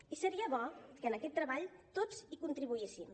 i seria bo que en aquest treball tots hi contribuíssim